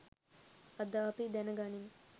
අද අපි දැන ගනිමු